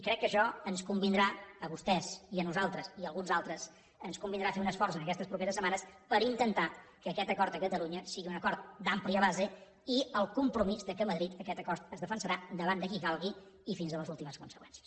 crec que això ens convindrà a vostès i a nosaltres i a alguns altres ens convindrà fer un esforç en aquestes properes setmanes per intentar que aquest acord a catalunya sigui un acord d’àmplia base i el compromís que a madrid aquest acord es defensarà davant de qui calgui i fins a les últimes conseqüències